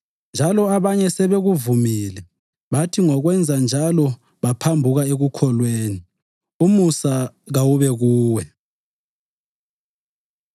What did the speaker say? njalo abanye sebekuvumile, bathi ngokwenza njalo baphambuka ekukholweni. Umusa kawube kuwe.